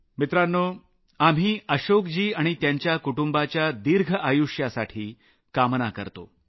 मित्रांनो आपण अशोकजी आणि त्यांच्या कुटुंबाच्या दिर्घआयुष्यासाठी कामना करुया